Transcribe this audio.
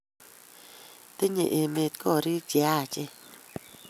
Tenye emet korik che achen